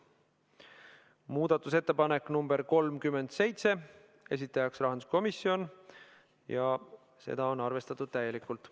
Muudatusettepanek nr 37, esitajaks on rahanduskomisjon ja seda on arvestatud täielikult.